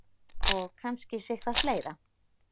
Og kannski sitthvað fleira.